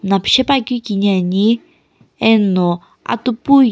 mllapshepuakeu kini ani eno atupui--